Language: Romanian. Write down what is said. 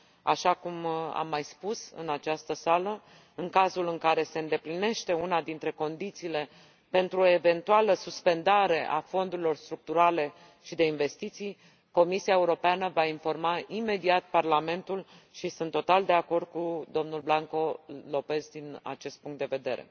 Așa cum am mai spus în această sală, în cazul în care se îndeplinește una dintre condițiile pentru o eventuală suspendare a fondurilor structurale și de investiții, Comisia Europeană va informa imediat Parlamentul, și sunt total de acord cu domnul Blanco López din acest punct de vedere.